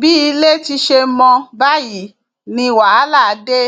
bí ilé ti ṣe mọ báyìí ni wàhálà dé